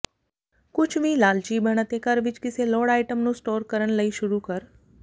ਕੁਝ ਵੀ ਲਾਲਚੀ ਬਣ ਅਤੇ ਘਰ ਵਿਚ ਿਕਸੇਲੋੜ ਆਈਟਮ ਨੂੰ ਸਟੋਰ ਕਰਨ ਲਈ ਸ਼ੁਰੂ ਕਰ